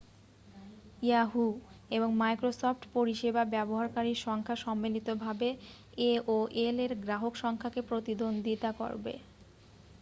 yahoo! এবং Microsoft পরিসেবা ব্যবহারকারীর সংখ্যা সম্মিলিতভাবে aol-এর গ্রাহক সংখ্যাকে প্রতিদ্বন্দ্বিতা করবে।